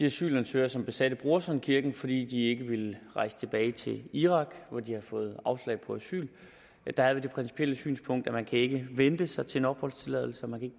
asylansøgere som besatte brorsons kirke fordi de ikke ville rejse tilbage til irak og de havde fået afslag på asyl der har vi det principielle synspunkt at man ikke kan vente sig til en opholdstilladelse man kan